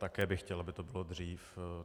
Také bych chtěl, aby to bylo dřív.